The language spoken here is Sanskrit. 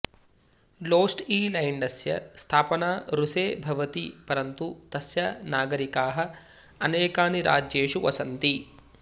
लोस्टईलैन्डस्य स्थापना रूसे भवति परन्तु तस्य नागरिकाः अनेकानि राज्येषु वसन्ति